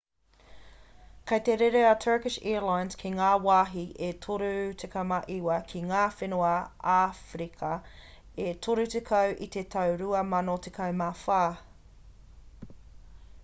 kei te rere a turkish airlines ki ngā wāhi e 39 ki ngā whenua āwherika e 30 i te tau 2014